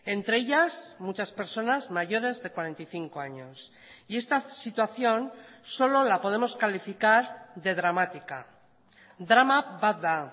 entre ellas muchas personas mayores de cuarenta y cinco años y esta situación solo la podemos calificar de dramática drama bat da